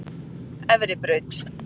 Efribraut